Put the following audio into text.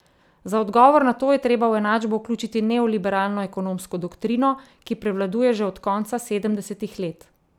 Za odgovor na to je treba v enačbo vključiti neoliberalno ekonomsko doktrino, ki prevladuje že od konca sedemdesetih let.